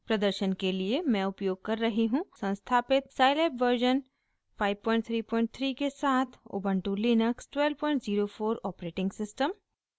प्रदर्शन के लिए मैं उपयोग कर रही हूँ संस्थापित scilab वर्शन 533 के साथ उबन्टु लिनक्स 1204 ऑपरेटिंग सिस्टम